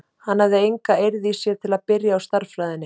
Hann hafði enga eirð í sér til að byrja á stærðfræðinni.